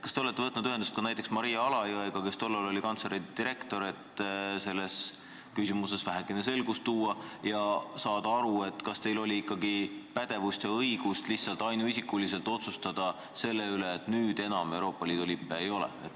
Kas te olete võtnud ühendust näiteks Maria Alajõega, kes tol ajal oli kantselei direktor, et selles küsimuses vähekene selgust tuua ja saada aru, kas teil ikkagi oli õigus ainuisikuliselt otsustada selle üle, et nüüd enam Euroopa Liidu lippe Valges saalis ei ole?